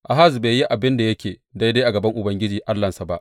Ahaz bai yi abin da yake daidai a gaban Ubangiji Allahnsa ba.